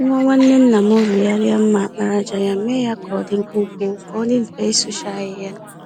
Nwa nwanne nna m rụgharịa mma àkpàràjà ya, mee ya k'ọdi mkpụmkpụ, k'ọdi mfe ịkpụcha ahịhịa.